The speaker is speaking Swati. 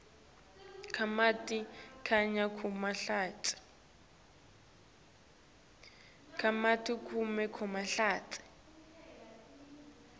kamatima kanye nekulahlekelwa